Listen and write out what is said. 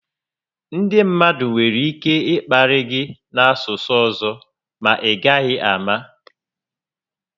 Ndị mmadụ nwere ike ị kparị gị n'asụsụ ọzọ ma i gaghị àmà